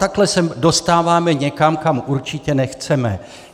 Takhle se dostáváme někam, kam určitě nechceme.